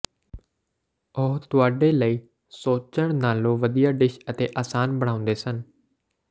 ਉਹ ਤੁਹਾਡੇ ਲਈ ਸੋਚਣ ਨਾਲੋਂ ਵਧੀਆ ਡਿਸ਼ ਅਤੇ ਆਸਾਨ ਬਣਾਉਂਦੇ ਸਨ